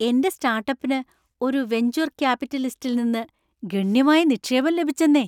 എന്‍റെ സ്റ്റാർട്ടപ്പിന് ഒരു വെഞ്ച്വർ ക്യാപിറ്റലിസ്റ്റിൽ നിന്ന് ഗണ്യമായ നിക്ഷേപം ലഭിച്ചന്നേ!